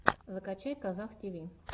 закачай казах тиви